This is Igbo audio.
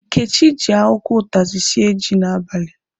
Nkechi ji akwụkwọ ụtazị sie ji n'abalị.